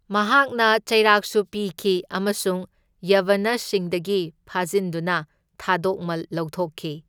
ꯃꯍꯥꯛꯅ ꯆꯩꯔꯥꯛꯁꯨ ꯄꯤꯈꯤ ꯑꯃꯁꯨꯡ ꯌꯚꯅꯁꯁꯤꯡꯗꯒꯤ ꯐꯖꯤꯟꯗꯨꯅ ꯊꯥꯗꯣꯛꯃꯜ ꯂꯧꯊꯣꯛꯈꯤ꯫